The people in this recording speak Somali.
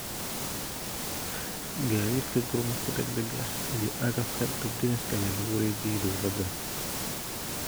Gaadiidka gurmadka deg dega ah iyo agabka dab damiska ayaa lagu wareejiyay dowladda.